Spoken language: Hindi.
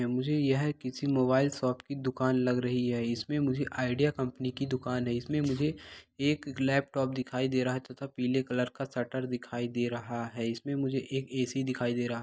मुझे यह किसी मोबाइल शॉप की दुकान लग रही है इसमें मुझे आईडिया कंपनी की दुकान है इसमें मुझे एक लैपटॉप दिखाई दे रहा है तथा पीले कलर का शटर दिखाई दे रहा है इसमें मुझे एक ऐ_सी दिखाई दे रहा है।